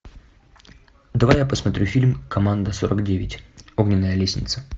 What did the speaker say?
давай я посмотрю фильм команда сорок девять огненная лестница